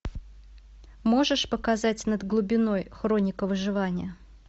можешь показать над глубиной хроника выживания